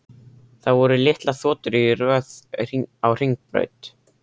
Það voru litlar þotur í röð á hringbraut.